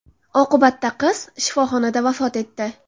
Oqibatda qiz shifoxonada vafot etdi.